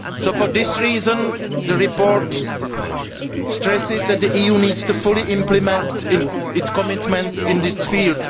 For this reason, the report stresses that the EU needs to fully implement its commitments in this field.